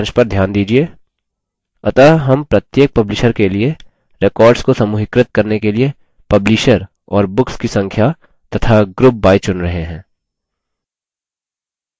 अतः हम प्रत्येक publisher के लिए records को समूहीकृत करने के लिए publisher और books की संख्या तथा group by चुन रहे हैं